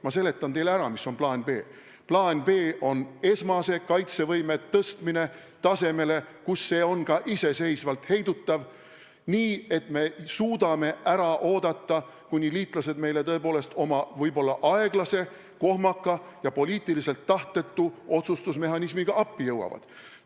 Ma seletan teile ära, mis on plaan B. Plaan B on meie esmase kaitsevõime suurendamine tasemele, kus see on ka iseseisvalt heidutav, nii et me suudaksime ära oodata, kuni liitlased meile tõepoolest oma võib-olla aeglase, kohmaka ja poliitiliselt tahtetu otsustusmehhanismiga appi jõuavad.